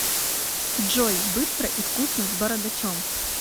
джой быстро и вкусно с бородачом